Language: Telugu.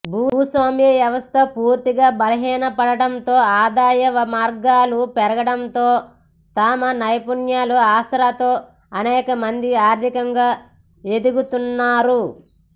భూస్వామ్య వ్యవస్థ పూర్తిగా బలహీనపడటంతో ఆదాయ మార్గాలు పెరగడంతో తమ నైపుణ్యాల ఆసరాతో అనేకమంది ఆర్థికంగా ఎదుగుతున్నారు